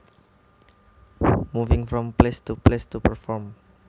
Moving from place to place to perform